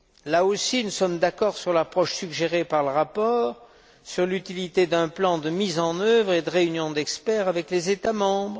Là aussi, nous sommes d'accord sur l'approche suggérée par le rapport, sur l'utilité d'un plan de mise en œuvre et de réunions d'experts avec les États membres.